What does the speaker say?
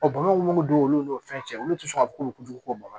bamakɔ mun bɛ don olu n'o fɛn cɛ olu tɛ sɔn ka k'ulu juguman kɔ bamakɔ